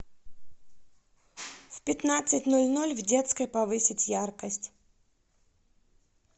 в пятнадцать ноль ноль в детской повысить яркость